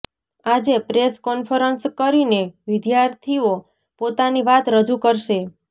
આજે press conference કરીને વિદ્યાર્થીઓ પોતાની વાત રજુ કરશે